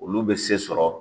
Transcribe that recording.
Olu bɛ se sɔrɔ